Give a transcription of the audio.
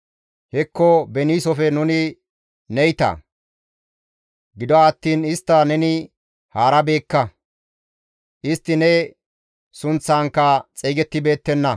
Hekko beniisofe nuni neyta; gido attiin istta neni haarabeekka; istti ne sunththankka xeygettibeettenna.